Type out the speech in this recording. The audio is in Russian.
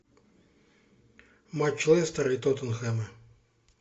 матч лестера и тоттенхэма